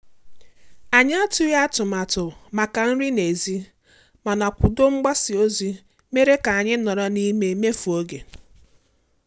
Anyị atụghị atụmatụ maka nri n'èzí, mana koodu mgbasa ozi mere ka anyị nọrọ n'ime mmefu ego